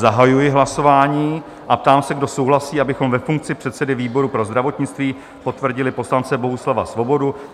Zahajuji hlasování a ptám se, kdo souhlasí, abychom ve funkci předsedy výboru pro zdravotnictví potvrdili poslance Bohuslava Svobodu?